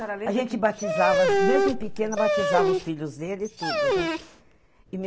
A senhora lembra. A gente batizava, mesmo pequena, batizava os filhos dele e tudo, né? E me